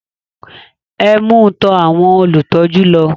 Ẹ mú u tọ àwọn olùtọ́jú lọ